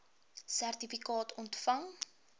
sertifikaat ontvang